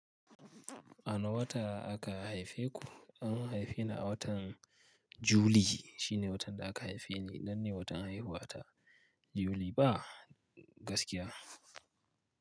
A wane wata aka haife ku? An haife ni a watan juli shine watan da aka haife ni wannan ne watan haihuwa ta, yuli ba, gaskiya.